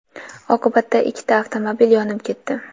Oqibatda ikkita avtomobil yonib ketdi.